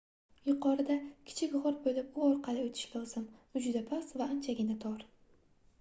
yuqorida kichik gʻor boʻlib u orqali oʻtish lozim u juda past va anchagina tor